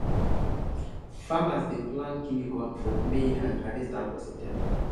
farmers dey plant guinea corn for may and harvest am for september